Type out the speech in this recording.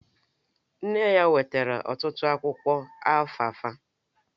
Nne ya wetara ọtụtụ akwụkwọ alfalfa